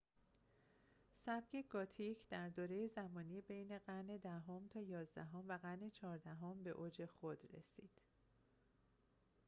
سبک گوتیک در دوره زمانی بین قرن ۱۰ام تا ۱۱ام و قرن ۱۴ام به اوج خود رسید